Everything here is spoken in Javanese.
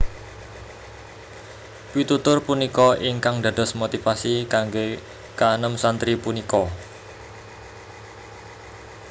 Pitutur punika ingkang dados motivasi kanggé kaenem santri punika